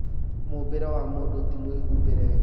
"Mũmbĩre wa mũndũ ti mwĩhumbĩre.